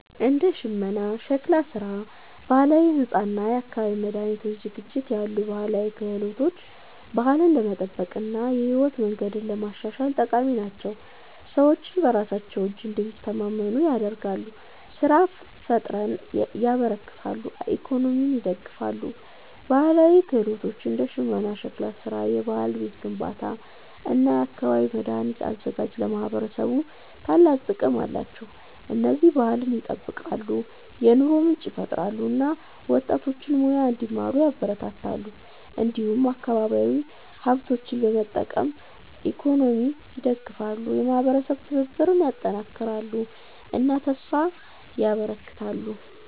እንደ ሽመና፣ ሸክላ ስራ፣ ባህላዊ ሕንፃ እና የአካባቢ መድኃኒት ዝግጅት ያሉ ባህላዊ ክህሎቶች ባህልን ለመጠበቅ እና የህይወት መንገድን ለማሻሻል ጠቃሚ ናቸው። ሰዎችን በራሳቸው እጅ እንዲተማመኑ ያደርጋሉ፣ ስራ ፍጠርን ያበረክታሉ እና ኢኮኖሚን ይደግፋሉ። ባህላዊ ክህሎቶች እንደ ሽመና፣ ሸክላ ስራ፣ የባህላዊ ቤት ግንባታ እና የአካባቢ መድኃኒት አዘጋጅት ለማህበረሰብ ታላቅ ጥቅም አላቸው። እነዚህ ባህልን ይጠብቃሉ፣ የኑሮ ምንጭ ይፈጥራሉ እና ወጣቶችን ሙያ እንዲማሩ ያበረታታሉ። እንዲሁም አካባቢያዊ ሀብቶችን በመጠቀም ኢኮኖሚን ይደግፋሉ፣ የማህበረሰብ ትብብርን ያጠናክራሉ እና ተስፋ ያበረክታሉ።